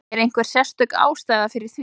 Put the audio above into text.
Er einhver sérstök ástæða fyrir því?